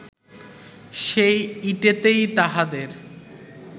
সেই ইটেতেই তাহাদের